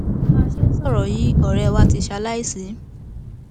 bá a ṣe ń sọrọ yìí ọrẹ wa ti ṣaláìsí